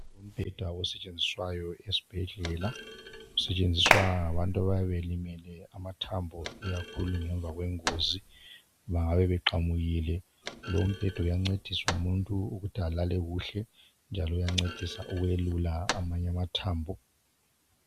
umbheda osetshenziswayo esibhedlela usetshenziswa ngabantu abayabe belimele amathambo ikakhulu ngemva kwengozi bangabe beqamukile lowu umbheda uyancedisa umuntu ukuthi alale kuhle njalo uyancedisa amanye amathambo